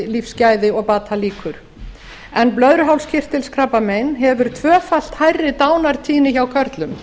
lífsgæði og batalíkur blöðruhálskirtilskrabbamein hefur tvöfalt hærri dánartíðni hjá körlum